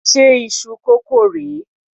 Ṣé iṣu kókò rè é?